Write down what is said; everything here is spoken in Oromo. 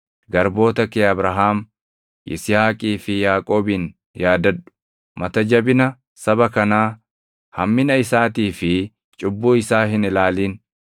Garboota kee Abrahaam, Yisihaaqii fi Yaaqoobin yaadadhu. Mata jabina saba kanaa, hammina isaatii fi cubbuu isaa hin ilaalin.